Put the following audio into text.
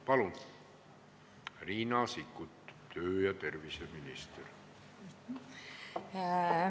Palun, tervise- ja tööminister Riina Sikkut!